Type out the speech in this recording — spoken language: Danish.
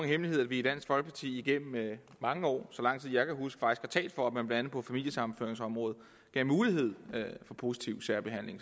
hemmelighed at vi i dansk folkeparti igennem mange år faktisk så lang tid jeg kan huske har talt for at man blandt andet på familiesammenføringsområdet gav mulighed for positiv særbehandling